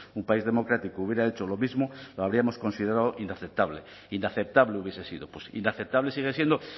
un país democrático hubiera hecho lo mismo lo habríamos considerado inaceptable inaceptable hubiese sido inaceptable sigue siendo